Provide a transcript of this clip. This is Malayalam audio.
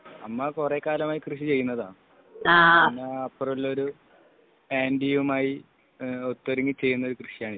അമ്മ കുറേക്കാലായി കൃഷി ചെയ്യുന്നതാണ് അമ്മ അപ്പുറം ഉള്ള ഒരു ആന്റിയുമായിഒത്തൊരുങ്ങി ചെയ്യുന്ന ഒരു കൃഷിയാണ് ഇത്